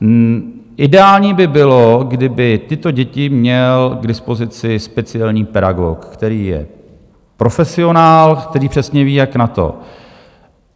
Ideální by bylo, kdyby tyto děti měl k dispozici speciální pedagog, který je profesionál, který přesně ví, jak na to.